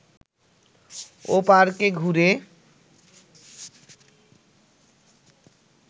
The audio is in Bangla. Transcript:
ও পার্কে ঘুরে